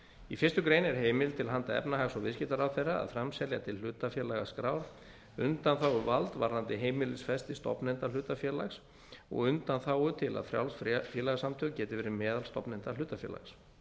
í fyrstu grein er heimild til handa efnahags og viðskiptaráðherra að framselja til hlutafélagaskrár undanþáguvald varðandi heimilisfesti stofnenda hlutafélags og undanþágu til að frjáls félagasamtök geti verið meðal stofnenda hlutafélags